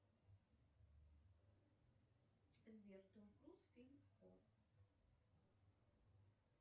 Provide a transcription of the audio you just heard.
сбер том круз фильм